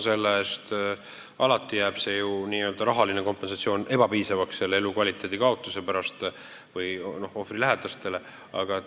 Ja alati jääb see rahaline kompensatsioon ebapiisavaks, võrreldes ohvri või tema lähedaste rikutud eluga.